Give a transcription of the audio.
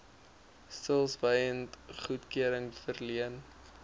stilswyend goedkeuring verleen